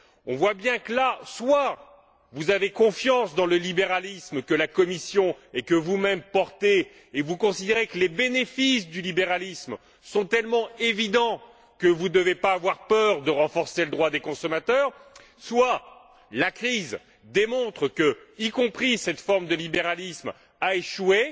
Nous voyons bien que, en l'occurrence, soit vous avez confiance dans le libéralisme, que la Commission et que, vous même, portez, et vous considérez que les bénéfices du libéralisme sont tellement évidents que vous ne devez pas avoir peur de renforcer le droit des consommateurs, soit la crise démontre que cette forme de libéralisme a, elle aussi, échoué